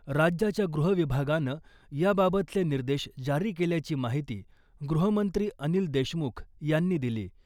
राज्याच्या गृहविभागानं याबाबतचे निर्देश जारी केल्याची माहिती गृहमंत्री अनिल देशमुख यांनी दिली .